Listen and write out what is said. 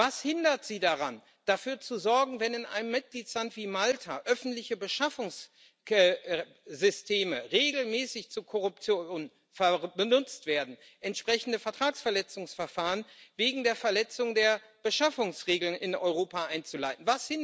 Was hindert Sie daran, dafür zu sorgen, wenn in einem Mitgliedstaat wie Malta öffentliche Beschaffungssysteme regelmäßig zu Korruption benutzt werden, entsprechende Vertragsverletzungsverfahren wegen der Verletzung der Beschaffungsregeln in Europa einzuleiten?